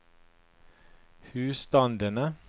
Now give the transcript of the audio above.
husstandene